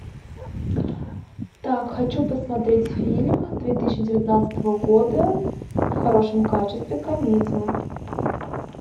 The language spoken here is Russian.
так хочу посмотреть фильм две тысячи девятнадцатого года в хорошем качестве комедию